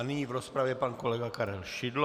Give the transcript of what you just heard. A nyní v rozpravě pan kolega Karel Šidlo.